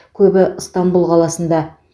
көбі ыстанбұл қаласында